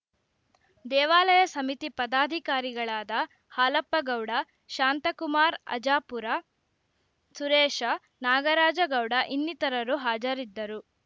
ದೇವಾಲಯ ಸಮಿತಿ ಪದಾಧಿಕಾರಿಗಳಾದ ಹಾಲಪ್ಪ ಗೌಡ ಶಾಂತಕುಮಾರ್‌ ಆಜಾಪುರ ಸುರೇಶ ನಾಗರಾಜ ಗೌಡ ಇನ್ನಿತರರು ಹಾಜರಿದ್ದರು